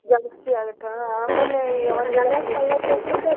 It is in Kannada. ಜಾಸ್ತಿ ಆಗುತ್ತ್ ಹಾ ಆಮೇಲೆ .